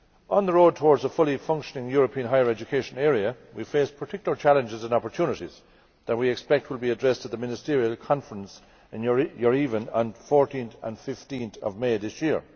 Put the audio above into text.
On the road towards a fully functioning European higher education area, we face particular challenges and opportunities that we expect will be addressed at the Ministerial Conference in Yerevan on 14 and 15 May this year.